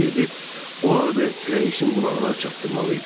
Necəsə edib o adı rəisin qulağına çatdırmalıydım.